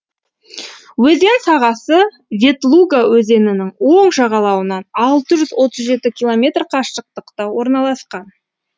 өзен сағасы ветлуга өзенінің оң жағалауынан алты жүз отыз жеті километр қашықтықта орналасқан